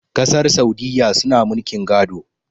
kasar saudiyya suna mulkin gado